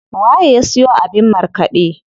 Waye ya siyo abin markaɗe?